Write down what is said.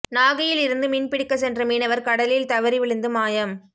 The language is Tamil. நாகையில் இருந்து மீன்பிடிக்கச் சென்ற மீனவர் கடலில் தவறி விழுந்து மாயம்